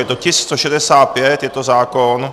Je to tisk 165, je to zákon...